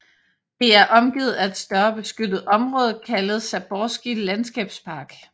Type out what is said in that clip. Det er omgivet af et større beskyttet område kaldet Zaborski Landskabspark